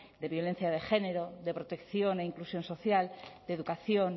de violencia de género de protección e inclusión social de educación